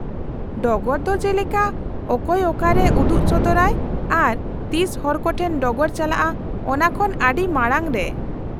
-ᱰᱚᱜᱚᱨ ᱫᱚ ᱡᱮᱞᱮᱠᱟ ᱚᱠᱚᱭ ᱚᱠᱟᱨᱮ ᱩᱫᱩᱜ ᱥᱚᱫᱚᱨᱟᱭ ᱟᱨ ᱛᱤᱥ ᱦᱚᱲ ᱠᱚᱴᱷᱮᱱ ᱰᱚᱜᱚᱨ ᱪᱟᱞᱟᱜᱼᱟ ᱚᱱᱟ ᱠᱷᱚᱱ ᱟᱰᱤ ᱢᱟᱲᱟᱝ ᱨᱮ ?